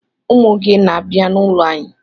Ụmụ gị na-abịa n'ụlọ anyị.